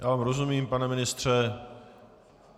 Já vám rozumím, pane ministře.